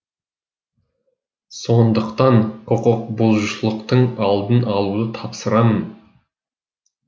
сондықтан құқықбұзушылықтың алдын алуды тапсырамын